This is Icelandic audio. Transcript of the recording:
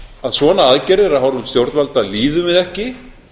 að svona aðgerðir af hálfu stjórnvalda líðum við ekki